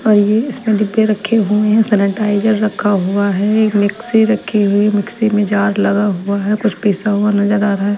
और ये इसमें डिब्बे रखे हुए है सेनेटाईजर रखा हुआ है एक मिक्स्सी रखी हुई है मिक्सी में एक जार लगा हुआ है कुछ पिसा हुआ नजर आ रहा है।